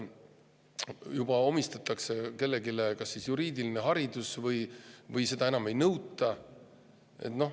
Juba omistatakse kellelegi juriidiline haridus või siis seda enam ei nõuta.